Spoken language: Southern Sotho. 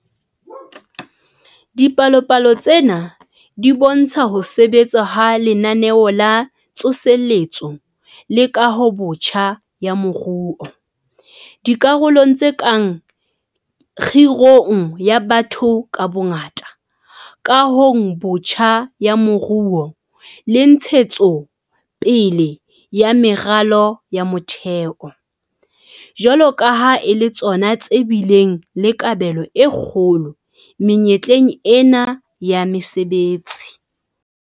Dipalopalo tsena di bo ntsha ho sebetsa ha Lenaneo la Tsoseletso le Kahobotjha ya Moruo - dikarolong tse kang kgirong ya batho ka bongata, kahong botjha ya moruo le ntshetso pele ya meralo ya motheo - jwalo ka ha e le tsona tse bileng le kabelo e kgolo menyetleng ena ya mesebetsi.